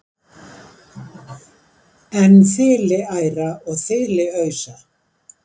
en þiliæra og þiliausa